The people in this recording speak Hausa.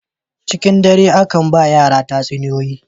Cikin dare aka ba wa yara tatsuniyoyi.